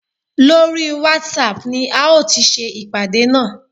Lórí whatsapp ni a ó ti ṣe ìpàdé náà